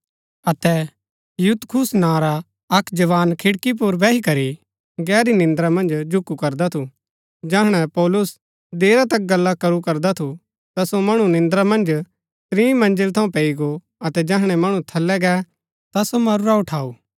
अतै यूतुखुस नां रा अक्क जवान खिड़की पुर बैही करी गहरी निन्द्रा मन्ज झूकु करदा थु जैहणै पौलुस देरा तक गल्ला करू करदा थु ता सो मणु निन्द्रा मन्ज त्रीं मंज़िल थऊँ पैई गो अतै जैहणै मणु थलै गै ता सो मरूरा उठाऊ